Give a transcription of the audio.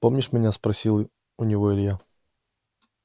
помнишь меня спросил у него илья